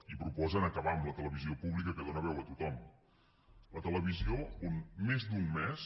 i proposen acabar amb la televisió pública que dóna veu a tothom la televisió on més d’un mes